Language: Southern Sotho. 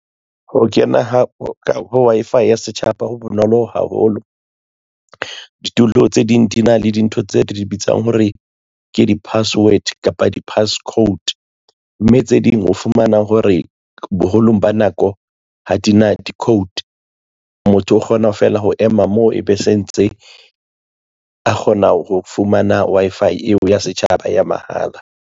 Ho kena ho Wi-Fi ya setjhaba ho bonolo haholo. Ditulo tse ding di na le dintho tse re di bitsang hore ke di-password kapa di-passcode mme tse ding ho fumana hore boholong ba nako ha di na di-code motho o kgona fela ho ema mo e be se ntse a kgona ho fumana Wi-Fi eo ya setjhaba ya mahala.